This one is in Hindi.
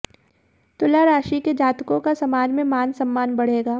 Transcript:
तुला राशि के जातकों का समाज में मान सम्मान बढ़ेगा